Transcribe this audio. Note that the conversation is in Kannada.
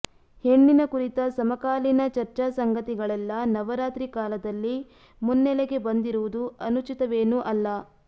ಹೆಣ್ಣಿನ ಕುರಿತ ಸಮಕಾಲೀನ ಚರ್ಚಾಸಂಗತಿಗಳೆಲ್ಲ ನವರಾತ್ರಿ ಕಾಲದಲ್ಲಿ ಮುನ್ನೆಲೆಗೆ ಬಂದಿರುವುದು ಅನುಚಿತವೇನೂ ಅಲ್ಲ